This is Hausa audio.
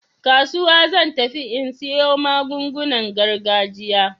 Kasuwa zan tafi in siyo magungunan gargajiya.